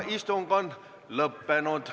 Istung on lõppenud.